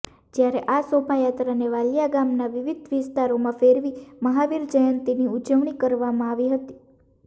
જયારે આ શોભાયાત્રાને વાલિયા ગામના વિવિધ વિસ્તારોમાં ફેરવી મહાવીર જયંતીની ઉજવણી કરવામાં આવી હતી